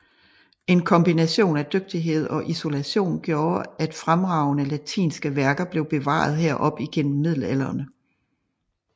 En kombination af dygtighed og isolation gjorde at fremragende latinske værker blev bevaret her op igennem middelalderen